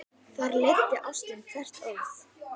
Þar leiddi ástin hvert orð.